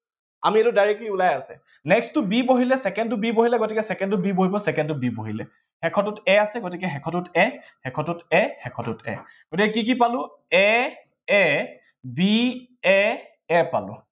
আমি এইটো directly ওলাই আছে, next টো b বহিলে, second টো b বহিলে, গতিকে second টোত b বহিব, second টোত b বহিলে। শেষৰটোত a আছে, গতিকে শেষৰটোত a, শেষৰটোত a, শেষৰটোত a গতিকে কি কি পালো? a a b a a পালো